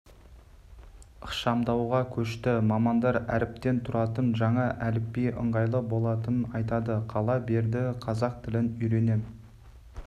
ықшамдауға көшті мамандар әріптен тұратын жаңа әліпби ыңғайлы болатынын айтады қала берді қазақ тілін үйренем